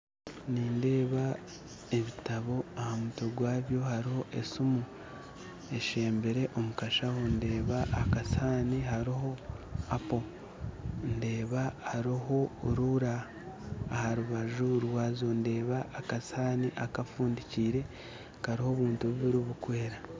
Nindeeba ebitabo aha mutwe gwabyo hariho esiimu eshebire omukashaho ndeeba akasihaani hariho apo ndeeba hariho ruula aharubanju rwazo ndeebaho akasihaani kafundikiire kariho obuntu bubiiri bukwera